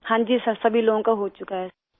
ہاں جی سر، سبھی لوگوں کا ہو چکا ہے